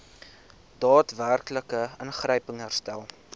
daadwerklike ingryping herstel